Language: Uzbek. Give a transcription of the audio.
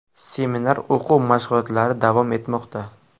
Seminar o‘quv-mashg‘ulotlari davom etmoqda.